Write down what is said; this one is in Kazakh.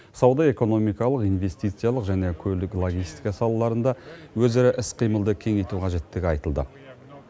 сауда экономикалық инвестициялық және көлік логистика салаларында өзара іс қимылды кеңейту қажеттігі айтылды